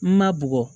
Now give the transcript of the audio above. Ma bɔgɔ